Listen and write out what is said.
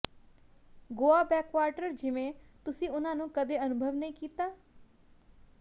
Goa backwater ਜਿਵੇਂ ਤੁਸੀ ਉਨ੍ਹਾਂ ਨੂੰ ਕਦੇ ਅਨੁਭਵ ਨਹੀਂ ਕੀਤਾ